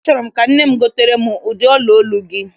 Achọrọ m ka nne m gotere m ụdị ọla olu gị.